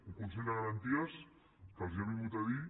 un consell de garanties que els ha vingut a dir